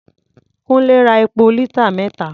Kúńlé ra epo lítà mẹ́ta.